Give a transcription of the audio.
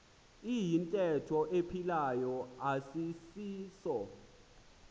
iyintetho ephilayo asisiso